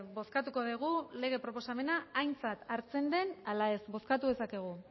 bozkatuko dugu lege proposamena aintzat hartzen den ala ez bozkatu dezakegu